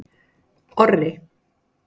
Orri